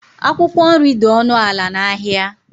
Akwụkwọ nri dị ọnụ ala n’ahịa